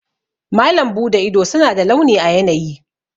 Malam Bude ido suna da launi a yanayi.